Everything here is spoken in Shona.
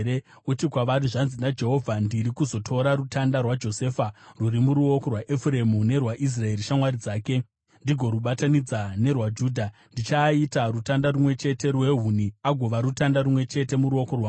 uti kwavari, ‘Zvanzi naJehovha: Ndiri kuzotora rutanda rwaJosefa, rwuri muruoko rwaEfuremu, nerwaIsraeri shamwari dzake, ndigorubatanidza nerwaJudha, ndichiaita rutanda rumwe chete rwehuni, agova rutanda rumwe chete muruoko rwangu.’